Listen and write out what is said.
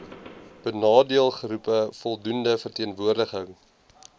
benadeeldegroepe voldoende verteenwoordiging